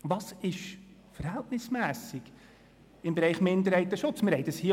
Was ist im Bereich Minderheitenschutz verhältnismässig?